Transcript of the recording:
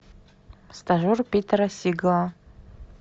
стажер питера сигала